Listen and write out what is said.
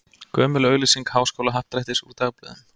Gömul auglýsing Háskólahappdrættis úr dagblöðum.